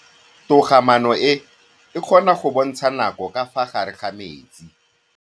Toga-maanô e, e kgona go bontsha nakô ka fa gare ga metsi.